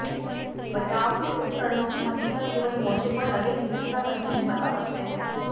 बचाव के उपकरणों की हक़ीक़त केवल मोर्चे पर लगे चिकित्साकर्मी ही बता सकते हैं